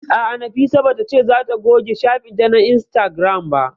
A'a, Nafisa ba ta ce za ta goge shafin ta na Instagram ba